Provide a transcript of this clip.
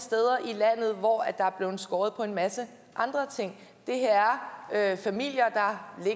i landet hvor der er blevet skåret ned på en masse andre ting det her er familier